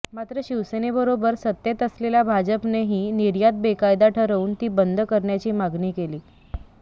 मात्र शिवसेनेबरोबर सत्तेत असलेल्या भाजपने ही निर्यात बेकायदा ठरवून ती बंद करण्याची मागणी केली